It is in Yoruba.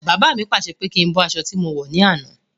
Baba mi pàṣẹ pé kí n bọ́ aṣọ tí mo wọ̀ ní àná.